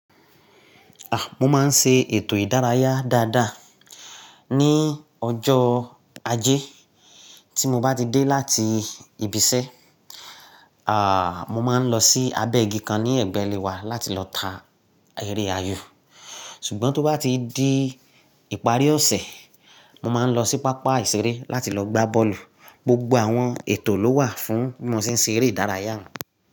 A! Mo máa ń ṣe ètò ìdárayá dáadáa. Ni ọjọ́ Ajé tí mo bá ti dé láti ibi iṣẹ́, mo máa ń lọ sí abẹ́ igi kan ní ẹgbẹ́ ilé wa láti lọ ta eré ayò. Ṣùgbọ́n tó bá ti di ìparí ọ̀sẹ̀, mo máa ń lọ sí pápá ìṣeré láti lọ gbá bọ́ọ̀lù. Gbogbo àwọn ètò ló wà fún bí mo ṣe ń ṣe eré ìdárayá mi.